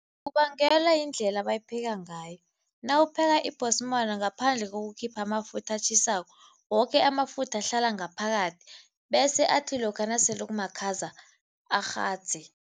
Kubangelwa yindlela ebayipheka ngayo. Nawupheka ngaphandle kokukhipha amafutha atjhisako, woke amafutha ahlala ngaphakathi bese athi lokha nasele kumakhaza arhadze.